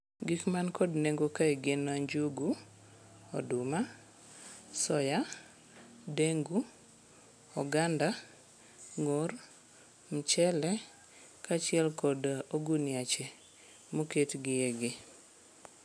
Gik man kod nengo kae gin njugu, oduma, soya, dengu, oganda, ng'or, mchele kaachiel kod oguniache moketgiegi.